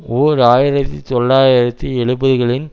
ஓர் ஆயிரத்தி தொள்ளாயிரத்து எழுபதுகளின்